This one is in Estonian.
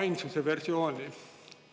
ainsuse versiooni.